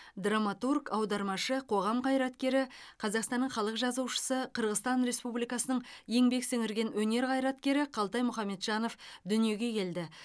драматург аудармашы қоғам қайраткері қазақстанның халық жазушысы қырғызстан республикасының еңбек сіңірген өнер қайраткері қалтай мұхамеджанов дүниеге келді